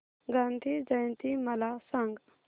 गांधी जयंती मला सांग